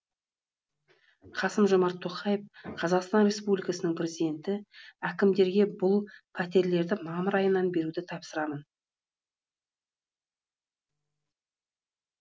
қасым жомарт тоқаев қазақстан республикасының президенті әкімдерге бұл пәтерлерді мамыр айынан беруді тапсырамын